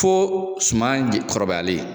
Fo suman kɔrɔbayalen